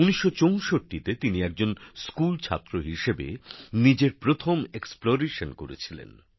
১৯৬৪ তে তিনি একজন স্কুল ছাত্র হিসেবে নিজের প্রথম অভিযান চালিয়েছিলেন